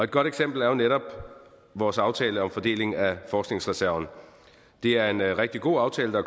godt eksempel er netop vores aftale om fordelingen af forskningsreserven det er en rigtig god aftale der